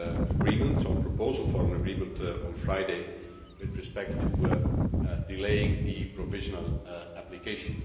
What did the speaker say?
agreements or proposal for an agreement on Friday with respect to delaying the provisional application.